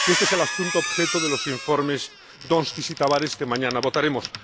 Este es el asunto objeto de los informes Donskis y Tavares que mañana votaremos.